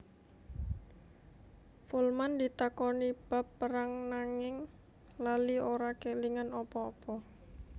Folman ditakoni bab perang nanging lali ora kélingan apa apa